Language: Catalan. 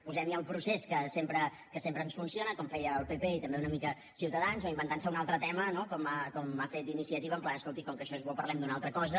posem hi el procés que sempre ens funciona com feia el pp i també una mica ciutadans o inventant se un altre tema no com ha fet iniciativa en pla escolti com que això és bo parlem d’una altra cosa